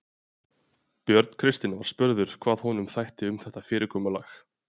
Björn Kristinn var spurður hvað honum þætti um þetta fyrirkomulag?